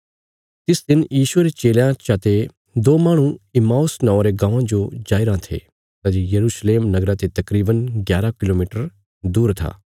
तिस दिन यीशुये रे चेलयां चा ते दो माहणु इम्माऊस नौआं रे गाँवां जो जाईराँ थे सै जे यरूशलेम नगरा ते तकरीवन ग्यारा किलोमीटर दूर था